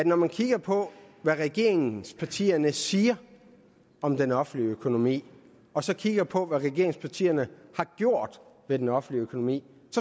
når man kigger på hvad regeringspartierne siger om den offentlige økonomi og så kigger på hvad regeringspartierne har gjort ved den offentlige økonomi